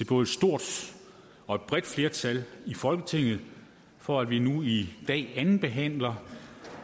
både stort og et bredt flertal i folketinget for at vi nu i dag andenbehandler